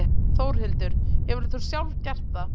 Þórhildur: Hefur þú sjálf gert það?